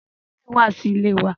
Colonel wa si ile wa